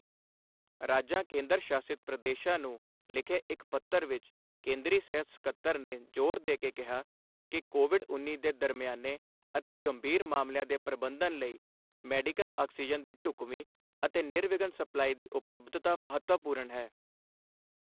ਰਾਜਾਂ ਕੇਂਦਰ ਸ਼ਾਸਿਤ ਪ੍ਰਦੇਸ਼ਾਂ ਨੂੰ ਲਿਖੇ ਇੱਕ ਪੱਤਰ ਵਿੱਚ, ਕੇਂਦਰੀ ਸਿਹਤ ਸਕੱਤਰ ਨੇ ਜ਼ੋਰ ਦੇ ਕੇ ਕਿਹਾ ਹੈ ਕਿ ਕੋਵਿਡ ਉੱਨੀ ਦੇ ਦਰਮਿਆਨੇ ਅਤੇ ਗੰਭੀਰ ਮਾਮਲਿਆਂ ਦੇ ਪ੍ਰਬੰਧਨ ਲਈ ਮੈਡੀਕਲ ਆਕਸੀਜਨ ਦੀ ਢੁਕਵੀਂ ਅਤੇ ਨਿਰਵਿਘਨ ਸਪਲਾਈ ਦੀ ਉਪਲਬਧਤਾ ਮਹੱਤਵਪੂਰਨ ਹੈ।